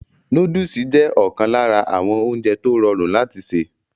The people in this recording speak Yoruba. Nóódùsì jẹ́ ọ̀kan lára àwọn oúnjẹ tó rọrùn láti sè